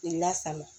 K'i lasago